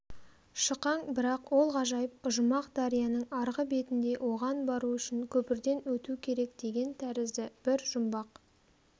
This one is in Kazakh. шықаң бірақ ол ғажайып ұжымақ дарияның арғы бетінде оған бару үшін көпірден өту керек деген тәрізді бір жұмбақ